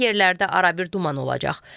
Bəzi yerlərdə arabir duman olacaq.